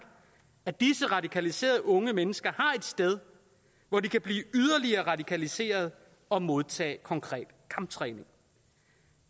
at disse radikaliserede unge mennesker har et sted hvor de kan blive yderligere radikaliserede og modtage konkret kamptræning